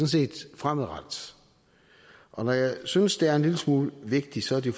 set fremadrettet og når jeg synes det er en lille smule vigtigt så er det